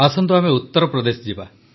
ଆସନ୍ତୁ ଆମେ ଉତ୍ତରପ୍ରଦେଶ ଯିବା